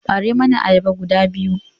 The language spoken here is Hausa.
Ɓare mani ayyaba guda biyu!